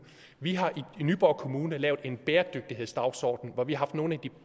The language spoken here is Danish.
vi har i nyborg kommune lavet en bæredygtighedsdagsorden hvor vi har haft nogle af de